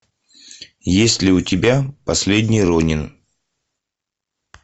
есть ли у тебя последний ронин